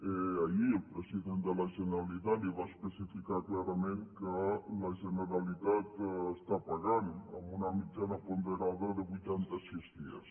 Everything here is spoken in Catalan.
ahir el president de la generalitat li va especificar clarament que la generalitat està pagant amb una mitjana ponderada de vuitanta sis dies